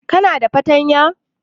Kuna da fartanya?